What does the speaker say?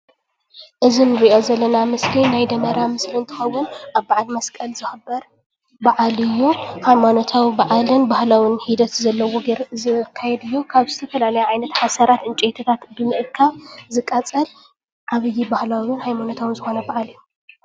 እዙይ እንርእዮ ዘለና ምስሊ ናይ ደመራ ምስሊ እንትከውን ኣብ ባዓል መስቀል ዝክበር ብዓል እዩ። ሃይማኖታዊ ብዓልን ባህላዊ ሂደት ዘለዎ ገይሩ ዝካየድ እዩ። ካብ ዝተፈላለየ ዓይነት ሓሰራት ዕንፀይትታት ብምእካብ ዝቃፀል ዓብዪ ባህላዊን ሃይማኖታውን ዝኮነ ብዓል እዩ።